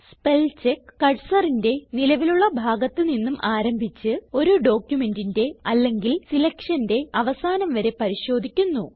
spellcheck cursorന്റെ നിലവിലുള്ള ഭാഗത്ത് നിന്നും ആരംഭിച്ച് ഒരു ഡോക്യുമെന്റിന്റെ അല്ലെങ്കിൽ സിലക്ഷന്റെ അവസാനം വരെ പരിശോധിക്കുന്നു